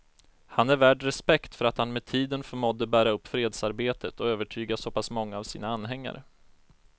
Han är värd respekt för att han med tiden förmådde bära upp fredsarbetet och övertyga så pass många av sina anhängare.